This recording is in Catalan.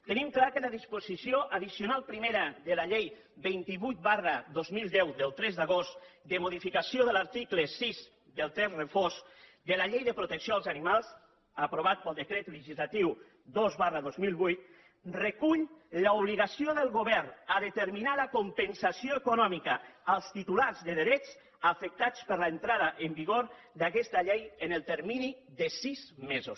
tenim clar que la disposició addicional primera de la llei vint vuit dos mil deu del tres d’agost de modificació de l’article sis del text refós de la llei de protecció als animals aprovat pel decret legislatiu dos dos mil vuit recull l’obligació del govern de determinar la compensació econòmica als titulars de drets afectats per l’entrada en vigor d’aquesta llei en el termini de sis mesos